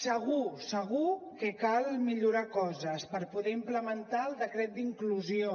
segur segur que cal millorar coses per poder implementar el decret d’inclusió